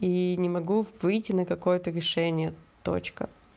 и не могу выйти на какое-то решение точка